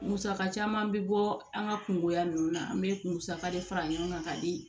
Musaka caman bɛ bɔ an ka kungoya ninnu na an bɛ musaka de fara ɲɔgɔn kan ka di